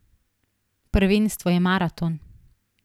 Prvenstvo je maraton.